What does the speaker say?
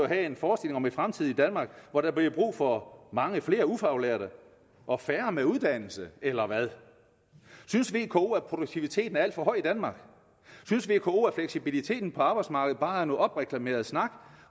have en forestilling om et fremtidigt danmark hvor der bliver brug for mange flere ufaglærte og færre med uddannelse eller hvad synes vko at produktiviteten er alt for høj i danmark synes vko at fleksibiliteten på arbejdsmarkedet bare er noget opreklameret snak